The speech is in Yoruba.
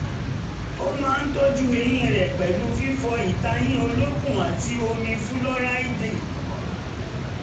ó máa ń tọ́jú eyín rẹ̀ pẹ̀lú fífọ ìtayín olókùn àti omi fúlóráìdì